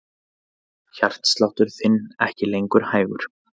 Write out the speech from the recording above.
Hjartsláttur þinn ekki lengur hægur.